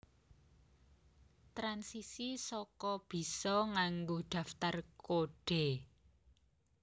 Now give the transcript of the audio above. Transisi saka bisa nganggo daftar kodhe